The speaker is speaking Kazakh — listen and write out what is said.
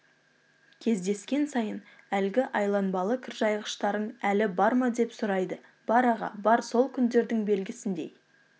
кездескен сайын әлгі айланбалы кіржайғыштарың әлі бар ма деп сұрайды бар аға бар сол күндердің белгісіндей